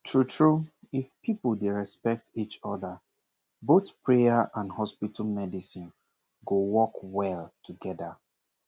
true true if people dey respect each other both prayer and hospital medicine go work well together